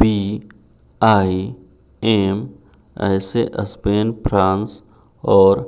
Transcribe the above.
BIM ऐसे Spain France और